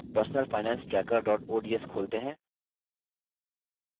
personalfinancetracker ods खोलते हैं